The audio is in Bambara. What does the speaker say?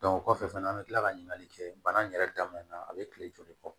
o kɔfɛ fana an bɛ tila ka ɲininkali kɛ bana in yɛrɛ daminɛna a bɛ kile joli bɔ